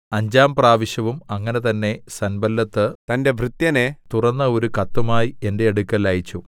അഞ്ചാം പ്രാവശ്യവും അങ്ങനെ തന്നെ സൻബല്ലത്ത് തന്റെ ഭൃത്യനെ തുറന്ന ഒരു കത്തുമായി എന്റെ അടുക്കൽ അയച്ചു